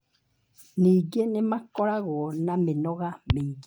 Ningĩ nĩ makoragwo na mĩnoga mĩingĩ.